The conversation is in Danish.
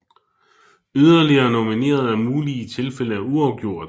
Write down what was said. Yderligere nominerede er mulige i tilfælde af uafgjort